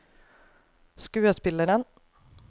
skuespilleren